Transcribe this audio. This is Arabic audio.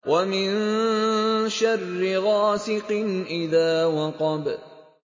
وَمِن شَرِّ غَاسِقٍ إِذَا وَقَبَ